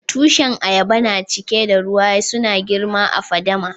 Tushin ayaba na cike da ruwa. Suna girma a'fadama.